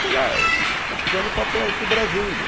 Goulart, estou precisando ir para perto de Brasília.